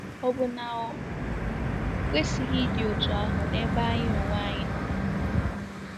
Ọ̀ bụ na o kwesịghị ịdị otú ahụ n’ebe anyị onwe anyị nọ?